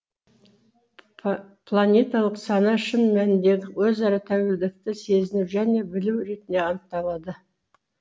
планеталық сана шын мәніндегі өзара тәуелділікті сезіну және білу ретінде анықталады